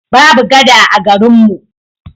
Babu gada a garin mu.